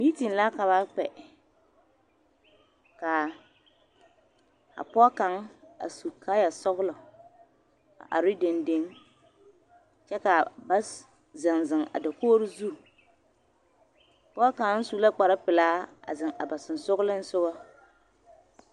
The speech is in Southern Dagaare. Mitine la ka ba kpɛ ka a pɔɡe kaŋ a su kaayasɔɡelɔ a are dendeŋ kyɛ ka ba zeŋzeŋ a dakori zu pɔɡe kaŋ su la kparpelaa a zeŋ a ba sensooleŋsoɡa.